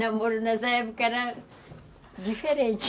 Namoro nessa época era diferente.